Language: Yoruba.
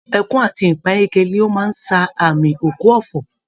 Ẹkún àti ìpayínkeke ni ó máa ń ṣàmì òkú ọ̀fọ̀